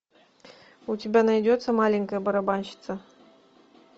у тебя найдется маленькая барабанщица